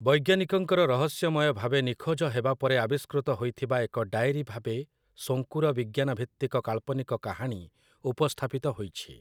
ବୈଜ୍ଞାନିକଙ୍କର ରହସ୍ୟମୟ ଭାବେ ନିଖୋଜ ହେବା ପରେ ଆବିଷ୍କୃତ ହୋଇଥିବା ଏକ ଡାଏରୀ ଭାବେ ଶୋଙ୍କୁର ବିଜ୍ଞାନଭିତ୍ତିକ କାଳ୍ପନିକ କାହାଣୀ ଉପସ୍ଥାପିତ ହୋଇଛି ।